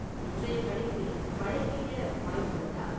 இன்றைய கணிப்பில் மழை பெய்ய வாய்ப்புள்ளதா